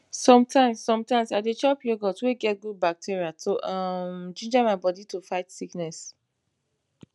sometimes sometimes i dey chop yogurt wey get good bacteria to um ginga my bodi to fight sickness